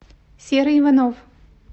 серый иванов